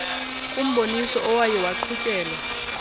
kumboniso owaye waqhutyelwa